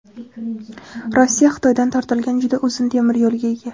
Rossiya Xitoydan tortilgan juda uzun temiryo‘lga ega.